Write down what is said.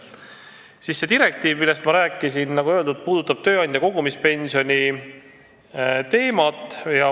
See direktiiv, millest ma rääkisin, puudutab, nagu öeldud, tööandja kogumispensioni teemat.